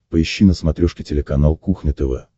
поищи на смотрешке телеканал кухня тв